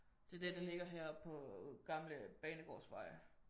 Det er den den ligger heroppe på Gamle Banegårdsvej